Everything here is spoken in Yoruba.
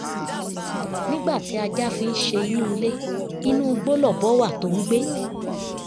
nígbà tí ajá fi ń ṣe inú ilé inú igbó lọ́bọ wa tó ń gbé